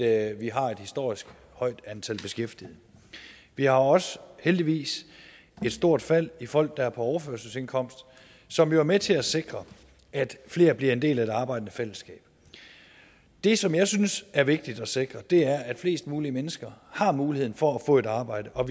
at vi har et historisk højt antal beskæftigede vi har også heldigvis et stort fald i folk der er på overførselsindkomst som jo er med til at sikre at flere bliver en del af det arbejdende fællesskab det som jeg synes er vigtigt at sikre er at flest mulige mennesker har muligheden for at få et arbejde og